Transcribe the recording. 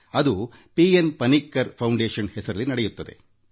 ಅದು P N Panicker ಪ್ರತಿಷ್ಠಾನದ ಹೆಸರಲ್ಲಿ ನಡೆಯುತ್ತದೆ